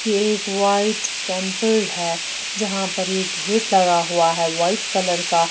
ये एक white temple है जहां पर ये गेट लगा हुआ है व्हाइट कलर का--